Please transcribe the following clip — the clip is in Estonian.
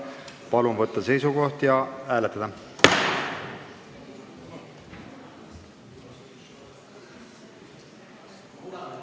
Palun võtta seisukoht ja hääletada!